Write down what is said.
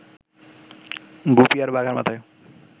গুপি আর বাঘার মাথায়